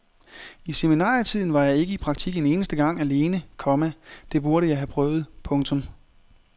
I seminarietiden var jeg ikke i praktik en eneste gang alene, komma det burde jeg have prøvet. punktum